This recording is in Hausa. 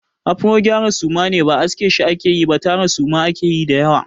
Afro gyara suma ne. Ba aske shi ake yi ba tara suma ake yi da yawa.